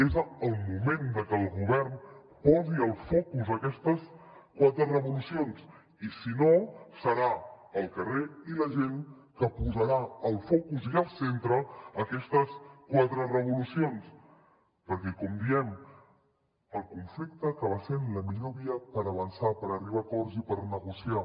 és el moment de que el govern posi al focus aquestes quatre revolucions i si no seran el carrer i la gent els que posaran al focus i al centre aquestes quatre revolucions perquè com diem el conflicte acaba sent la millor via per avançar per arribar a acords i per negociar